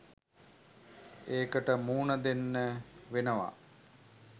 ඒකට මුහුණ දෙන්න වෙනවා.